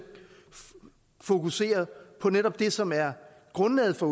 fokusere på netop det som er grundlaget for